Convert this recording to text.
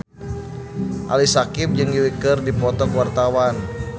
Ali Syakieb jeung Yui keur dipoto ku wartawan